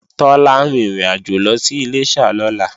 Tọ́lá ń rin ìrìnàjò lọ sí Iléṣà lọ́la